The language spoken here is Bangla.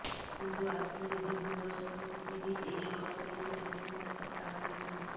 কিন্তু আপনি যদি ভুল বশত পৃথিবীর এই শহরগুলিতে জন্মে থাকেন তাহলে কিন্তু